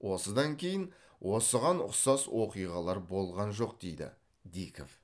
осыдан кейін осыған ұқсас оқиғалар болған жоқ дейді диков